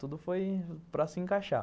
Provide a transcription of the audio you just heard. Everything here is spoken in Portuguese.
Tudo foi para se encaixar.